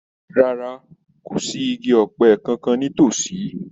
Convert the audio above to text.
Rárá. Kò sí igi ọ̀pẹ kankan nítòsí.